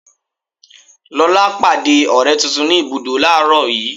Lóla pàdé ọ̀rẹ́ tuntun ni ibùdó làárọ̀ yii.